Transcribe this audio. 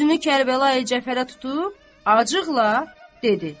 Üzünü Kərbəlayı Cəfərə tutub acıqla dedi.